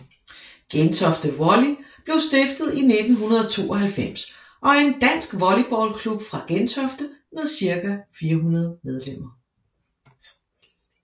Gentofte Volley blev stiftet i 1992 og er en dansk volleyballklub fra Gentofte med cirka 400 medlemmer